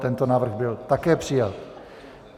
Tento návrh byl také přijat.